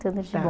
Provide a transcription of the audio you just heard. Tudo de bom.